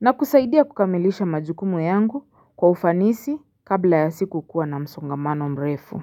na kusaidia kukamilisha majukumu yangu kwa ufanisi kabla ya siku kuwa na msongamano mrefu.